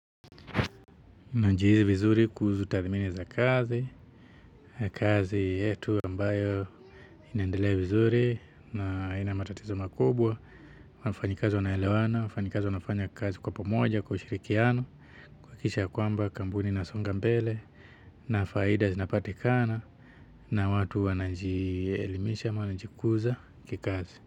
Najihisi vizuri kuhusu tathmini za kazi, kazi yetu ambayo inaendelea vizuri na ina matatizo makubwa, wafanyikazi wanaelewana, wafanyikazi wanafanya kazi kwa pomoja, kwa ushirikiano, kuhakisha ya kwamba kampuni inasonga mbele, na faida zinapatikana, na watu wanajielimisha, wanajikuza kikazi.